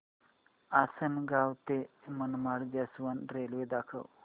आसंनगाव ते Manmad junction railway दाखव